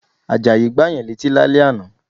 Àjàyí Gbáyàn létí lálẹ́ ànà